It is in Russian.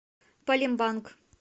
палембанг